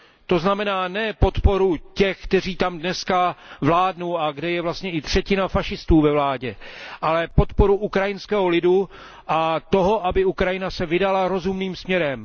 To znamená ne podporu těch, kteří tam dneska vládnou a kde je vlastně ve vládě i třetina fašistů, ale na podporu ukrajinského lidu a toho, aby se Ukrajina vydala rozumným směrem.